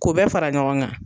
K'u bɛɛ fara ɲɔgɔn kan.